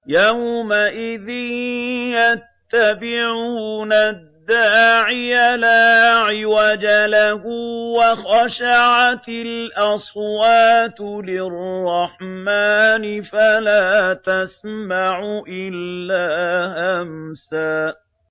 يَوْمَئِذٍ يَتَّبِعُونَ الدَّاعِيَ لَا عِوَجَ لَهُ ۖ وَخَشَعَتِ الْأَصْوَاتُ لِلرَّحْمَٰنِ فَلَا تَسْمَعُ إِلَّا هَمْسًا